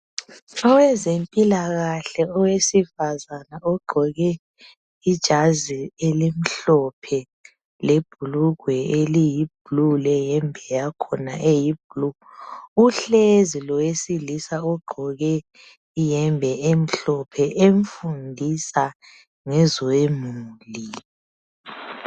Owezempilakahke owesifazana ogqoke ijazi elimhlophe lebhulugwe eliyiblue leyembe yakhona eyiblue uhlezi lowesilisa ogqoke iyembe emhlophe emfundisa ngezemuli.